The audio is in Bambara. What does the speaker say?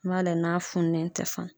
N b'a lajɛ n'a fununen tɛ fana.